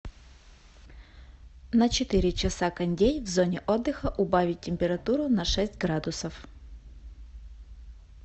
на четыре часа кондей в зоне отдыха убавить температуру на шесть градусов